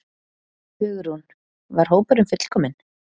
Hugrún: Var hópurinn fullkominn?